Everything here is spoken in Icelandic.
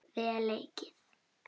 Vel leikið.